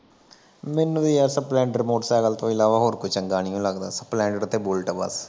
ਮੈਨੂੰ ਵੀ ਯਾਰ ਸਪਲੈਡਰ ਮੋਟਰਸਾਈਕਲ ਤੋਂ ਇਲਾਵਾ ਹੋਰ ਕੋਈ ਚੰਗਾ ਨਹੀ ਲੱਗਦਾ। ਸਪਲੈਂਡਰ ਤੇ ਬੂਲੇਟ ਬਸ